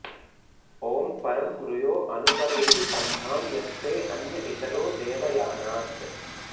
ओं परं मृयो अनुपरेहि पन्थां यस्ते अन्य इतरो देवयानात्